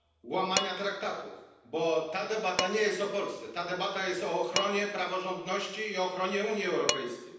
do łamania traktatów, bo ta debata nie jest o Polsce, ta debata jest o ochronie praworządności i ochronie Unii Europejskiej.